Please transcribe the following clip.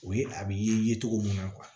O ye a bɛ ye cogo min na